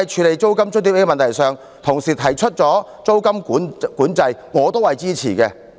在租金津貼問題上，個別議員提出實施租金管制，我也是支持的。